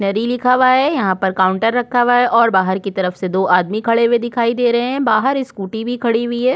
Stationery लिखा हुआ है यहाँ पर काउंटर रखा हुआ है और बाहर की तरफ से दो आदमी खड़े हुए दिखाई दे रहै हैं बाहर स्कूटी भी खड़ी हुई हैं ।